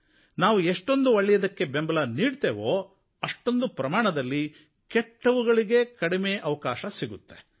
ನಾವು ಎಷ್ಟೊಂದು ಒಳ್ಳೆಯದಕ್ಕೆ ಬೆಂಬಲ ನೀಡುತ್ತೇವೆಯೋ ಅಷ್ಟೊಂದು ಪ್ರಮಾಣದಲ್ಲಿ ಕೆಟ್ಟವುಗಳಿಗೆ ಕಡಿಮೆ ಅವಕಾಶ ಸಿಗುತ್ತೆ